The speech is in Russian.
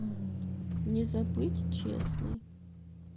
не забыть честный